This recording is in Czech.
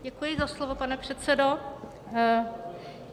Děkuji za slovo, pane předsedo.